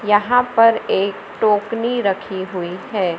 यहां पर एक टोकनी रखी हुई है।